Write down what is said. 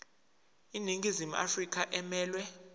iningizimu afrika emelwe